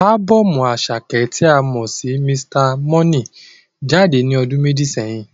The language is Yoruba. Ábọ́ọ̀mù Àṣàkẹ́ tí a mọ sí Mr. Money jáde ní ọdún méjì sẹ́yìn.